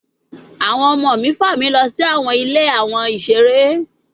Awọn ọmọ mi fa mi lọ si awọn Ile awon isere